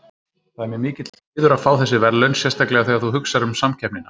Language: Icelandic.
Það er mér mikill heiður að fá þessi verðlaun sérstaklega þegar þú hugsar um samkeppnina.